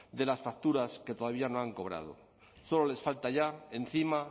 de las facturas que todavía no han cobrado solo les falta ya encima